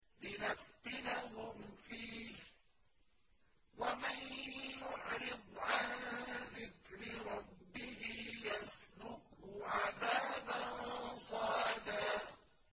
لِّنَفْتِنَهُمْ فِيهِ ۚ وَمَن يُعْرِضْ عَن ذِكْرِ رَبِّهِ يَسْلُكْهُ عَذَابًا صَعَدًا